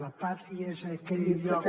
la pàtria és aquell lloc